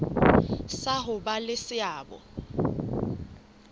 sa ho ba le seabo